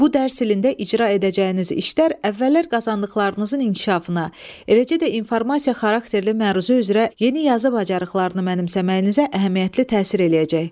Bu dərs ilində icra edəcəyiniz işlər əvvəllər qazandıqlarınızın inkişafına, eləcə də informasiya xarakterli məruzə üzrə yeni yazı bacarıqlarını mənimsəməyinizə əhəmiyyətli təsir eləyəcək.